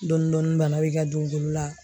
Dɔɔnin dɔɔnin bana bɛ i ka don golo la